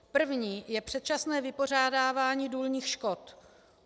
První je předčasné vypořádávání důlních škod.